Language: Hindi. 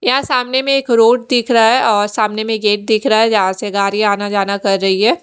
यहाँ सामने में एक रोड दिख रहा है और सामने में गेट दिख रहा है जहाँ से गाड़ी आना जाना कर रही है।